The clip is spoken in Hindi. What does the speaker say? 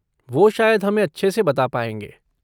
वो शायद हमें अच्छे से बता पाएँगे।